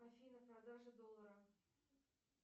афина продажа доллара